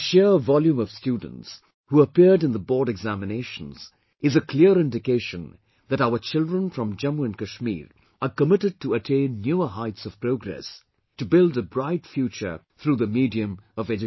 The sheer volume of students, who appeared in the Board Examinations, is a clear indication that our children from Jammu & Kashmir are committed to attain newer heights of progress, to build a bright future through the medium of education